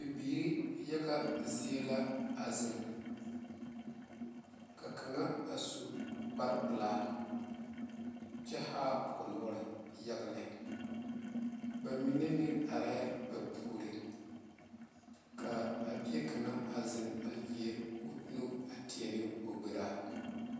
Bibiiri yaga zie la a zeŋ ka kaŋa a su kpare pelaa kyɛ haa o noɔre yaga lɛ ba mine meŋ areŋ ba puoriŋ kaa a bie kaŋa a zeŋ a leɛ o nu a teɛ ne o gberaa